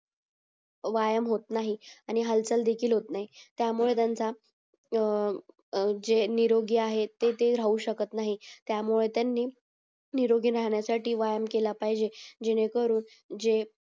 व्यायाम होत नाही आणि हालचाल देखिलंहोतं नाही त्यामुळे त्याचा त जे निरोगी आहेत तर ते राहूशकत नाही त्यामुळे त्यानी निरोगी राहण्यासाठी व्यायाम केला पाहिजेल जेणे करून जे